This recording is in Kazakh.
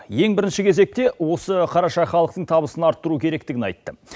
ең бірінші кезекте осы қараша халықтың табысын арттыру керектігін айтты